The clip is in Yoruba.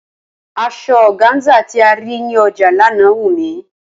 Asọ ọgáńsà tí a rí ní ọjà lánàá wù mí.